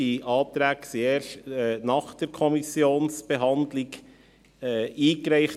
Diese Anträge wurden erst nach der Behandlung durch die Kommission eingereicht.